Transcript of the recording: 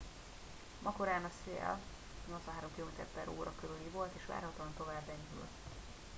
ma korán a szél 83 km/h körüli volt és várhatóan tovább enyhül